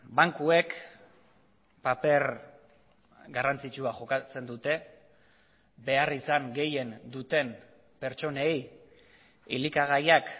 bankuek paper garrantzitsua jokatzen dute beharrizan gehien duten pertsonei elikagaiak